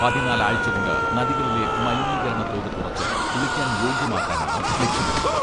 പതിനാല് ആഴ്ച കൊണ്ട് നദികളിലെ മലിനീകരണ തോത് കുറച്ച് കുളിക്കാൻ യോഗ്യമാക്കാനാണ് ലക്ഷമിടുന്നത്.